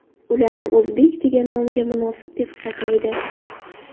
Ularni o‘zbek degan nomga nomunosib deb hisoblaydi.